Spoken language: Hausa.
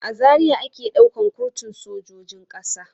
A Zaria ake ɗaukan kurtun sojojin ƙasa.